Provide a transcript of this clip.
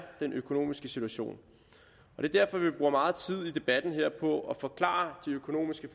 den økonomiske situation det er derfor vi bruger meget tid i debatten her på at forklare de økonomiske